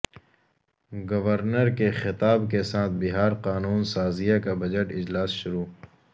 governor کے خطاب کے ساتھ بہار قانون سازیہ کا بجٹ اجلاس شروع